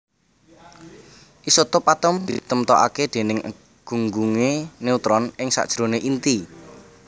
Isotop atom ditemtokaké déning gunggungé neutron ing sakjeroné inti